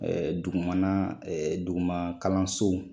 Ɛɛ dugu mana duguman kalansow